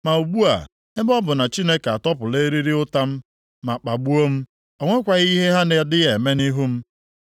Ma ugbu a, ebe ọ bụ na Chineke atọpụla eriri ụta m ma kpagbuo m, o nwekwaghị ihe ha na-adịghị eme nʼihu m.